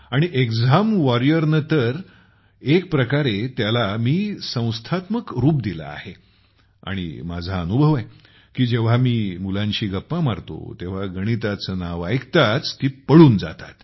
आणि exam warrior ने तर एक प्रकारे मी त्याला संस्थात्मक रूप दिले आहे आणि माझा अनुभव आहे की जेव्हा मी मुलांशी गप्पा मारतो तेव्हा गणिताचे नाव ऐकताच ती पळून जातात